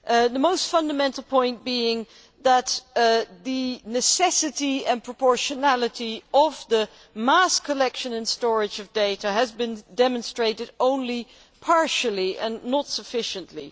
The most fundamental point is that the necessity and proportionality of the mass collection and storage of data has been demonstrated only partially, and not sufficiently.